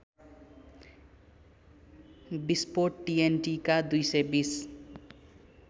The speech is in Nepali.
विस्फोट टिएनटिका २२०